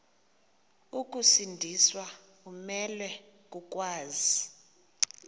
ukusindiswa umelwe kokwazi